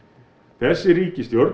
þessi ríkisstjórn